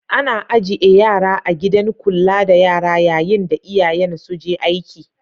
Ana ajie yara a'gidan kulla da yara yayin da iyayen su je aiki.